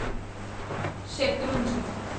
Shetrunji